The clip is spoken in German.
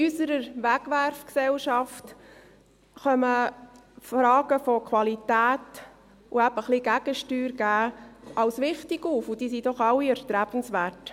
In unserer Wegwerfgesellschaft kommen Fragen der Qualität und ein bisschen Gegensteuer geben als wichtig auf, und sie sind doch alle erstrebenswert.